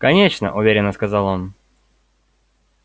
конечно уверенно сказал он